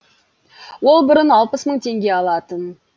ол бұрын алпыс мың теңге алатын